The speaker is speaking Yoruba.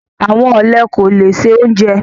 Àwọn ọlẹ kò lẹ̀ ṣẹ ọ̀unjẹ